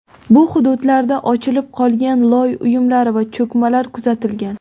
Bu hududlarda ochilib qolgan loy uyumlari va cho‘kmalar kuzatilgan.